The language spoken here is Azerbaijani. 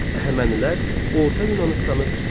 Əhəmənilər Orta Yunanıstanı tutdular.